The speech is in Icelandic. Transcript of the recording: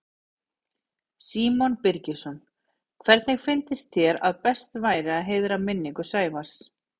Símon Birgisson: Hvernig finnst þér að best væri að heiðra minningu Sævars?